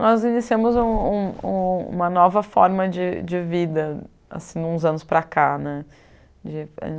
Nós iniciamos um um uma nova forma de de vida, assim, uns anos para cá, né, de